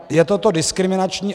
Je toto diskriminační?